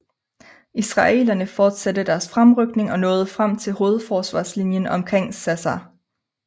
Israelerne fortsatte deres fremrykning og nåede frem til hovedforsvarslinjen omkring Sassa